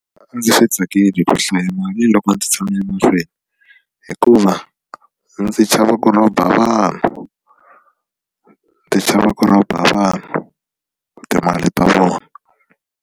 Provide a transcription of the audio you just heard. A ndzi swi tsakeli ku hlayela mali loko ndzi tshame mahlweni hikuva ndzi chava ku rhoba vanhu ni chava ku rhoba vanhu timali ta vona.